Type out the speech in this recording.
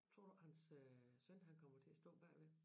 Tror du hans øh søn han kommer til at stå bagved